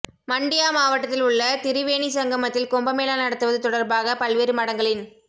மண்டியா மாவட்டத்தில் உள்ள திரிவேணி சங்கமத்தில் கும்பமேளா நடத்துவது தொடர்பாக பல்வேறு மடங்களின்